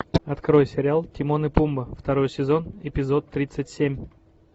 открой сериал тимон и пумба второй сезон эпизод тридцать семь